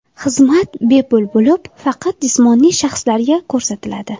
Xizmat bepul bo‘lib, faqat jismoniy shaxslarga ko‘rsatiladi.